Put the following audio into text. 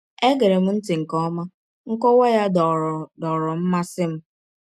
E gerem ntị nke ọma, nkọwa ya dọọrọ dọọrọ mmasị m.